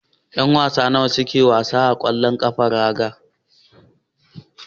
Yan wasa nawa ne suka suke yin wasa a wasan ƙwallon raga.